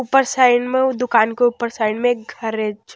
ऊपर साइड में दुकान के ऊपर साइड में एक घर है।